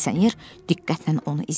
Sayıq milisioner diqqətlə onu izləyir.